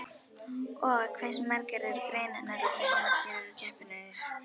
Og hversu margar eru greinarnar og hversu margir eru keppendurnir?